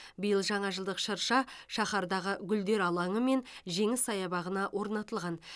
биыл жаңажылдық шырша шаһардағы гүлдер алаңы мен жеңіс саябағына орнатылған